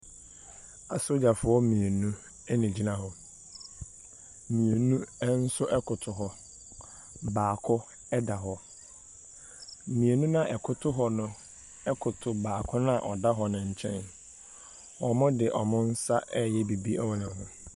Asogyafoɔ mmienu na wɔgyina hɔ. Mmienu nso koto hɔ. Baako da hɔ. Mmienu no a wɔkoto hɔ no koto baako no a ɔda hɔ no nkyɛn. Wɔde wɔn nsa reyɛ biribi wɔ ne ho.